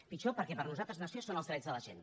pitjor perquè per nosaltres nació són els drets de la gent